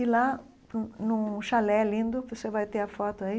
E lá, num num chalé lindo, você vai ter a foto aí,